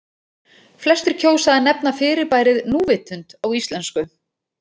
Flestir kjósa að nefna fyrirbærið núvitund á íslensku.